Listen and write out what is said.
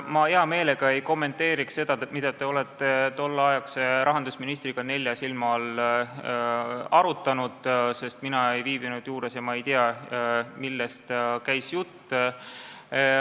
Ma hea meelega ei kommenteeriks seda, mida te olete tolleaegse rahandusministriga nelja silma all arutanud, sest mina ei viibinud juures ega tea, millest käis jutt.